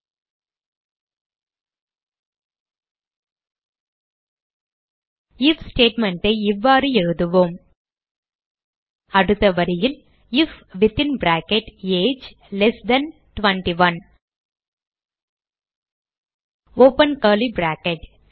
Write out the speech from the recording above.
if statement ஐ இவ்வாறு எழுதுவோம் அடுத்த வரியில் if within bracket age 21 open curly brackets